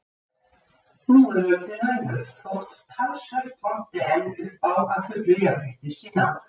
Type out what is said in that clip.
Nú er öldin önnur þótt talsvert vanti enn upp á að fullu jafnrétti séð náð.